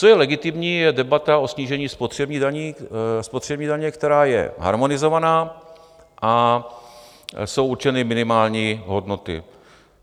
Co je legitimní, je debata o snížení spotřební daně, která je harmonizovaná, a jsou určeny minimální hodnoty.